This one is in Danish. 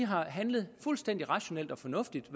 har handlet fuldstændig rationelt og fornuftigt